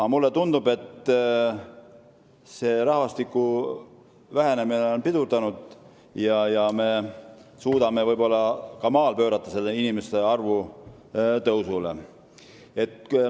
Aga mulle tundub, et rahvastiku vähenemine on pidurdunud ja võib-olla me suudame inimeste arvu ka maal tõusule pöörata.